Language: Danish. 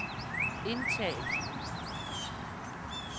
indtal